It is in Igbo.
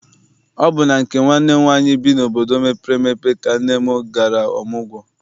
Ọ bụ na nke nwanne m nwaanyị bi n'obodo mepere emepe ka nne m gara ọmụgwọ.